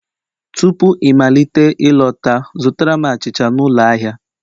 Tupu ịmalite ịlọta, zụtara m achịcha n'ụlọ ahịa